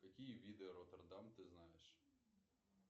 какие виды роттердам ты знаешь